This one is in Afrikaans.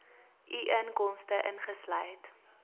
u inkomste ingesluit